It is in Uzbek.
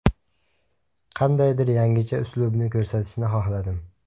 Qandaydir yangicha uslubni ko‘rsatishni xohladim.